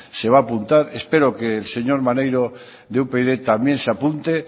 se va a apuntar espero que el señor maneiro de upyd también se apunte